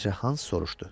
balaca Hans soruşdu.